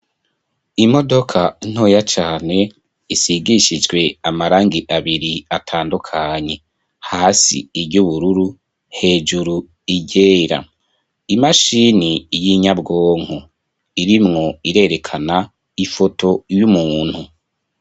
Imodoka ntoya cane isigishijwe amarangi abiri atandukanye, hasi iryubururu hejuru iryera, imashini y'inyabwonko irimwo irerekana ifoto y'umuntu.